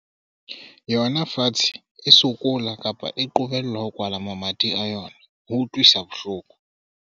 yona fatshe e sokola, kapa e qobellwa ho kwala mamati a yona, ho utlwisa bohloko.